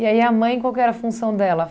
E aí, a mãe, qual que era a função dela?